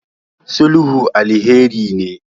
sulhu alheri ne